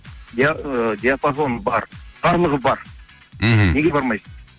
ы диапазон бар барлығы бар мхм неге бармайсыз